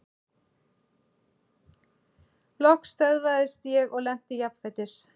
Loks stöðvaðist ég og lenti jafnfætis.